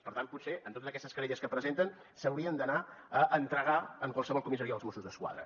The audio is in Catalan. per tant potser en totes aquestes querelles que presenten s’haurien d’anar a entregar en qualsevol comissaria dels mossos d’esquadra